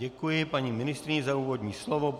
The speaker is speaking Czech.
Děkuji paní ministryni za úvodní slovo.